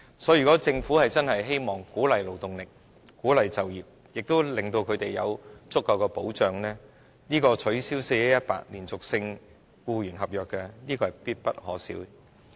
所以，如果政府真的希望鼓勵釋放勞動力、鼓勵就業，同時令她們有足夠的保障，取消 "4-1-18" 連續性僱傭合約的規定是必不可少的。